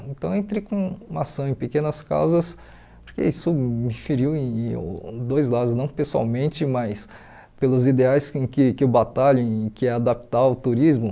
Então, entrei com uma ação em pequenas causas, porque isso me feriu em uh dois lados, não pessoalmente, mas pelos ideais em que que eu batalho, em que é adaptar o turismo.